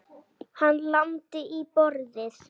Hann lamdi í borðið.